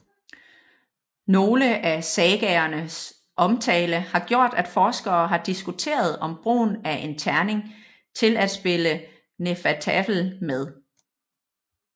Nogle af sagaerne omtale har gjort at forskere har diskuteret om brugen af en terning til at spille hnefatafl med